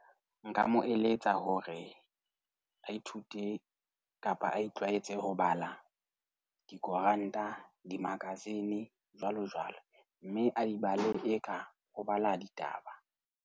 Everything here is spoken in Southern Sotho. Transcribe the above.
Nka mo eletsa hore a ithute kapa a itlwaetse ho bala dikoranta, di-magazine, jwalojwalo. Mme a di bala eka o bala ditaba.